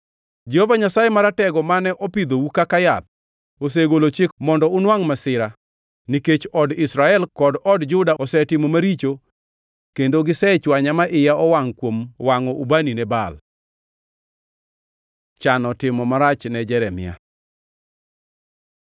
Jehova Nyasaye Maratego mane opidhou kaka yath osegolo chik mondo unwangʼ masira, nikech od Israel kod od Juda osetimo maricho kendo gisechwanya ma iya owangʼ kuom wangʼo ubani ne Baal. Chano timo marach ne Jeremia